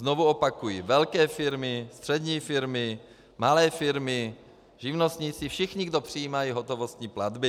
Znovu opakuji, velké firmy, střední firmy, malé firmy, živnostníci, všichni, kdo přijímají hotovostní platby.